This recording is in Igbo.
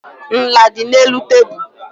Nla dị n'elu tebụl.